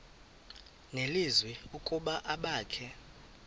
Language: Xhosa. nelizwi ukuba abakhe